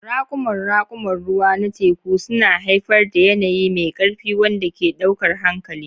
Raƙuman raƙuman ruwa na teku suna haifar da yanayi mai ƙarfi wanda ke ɗaukar hankali.